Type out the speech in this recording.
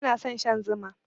Bana son shan Zuma.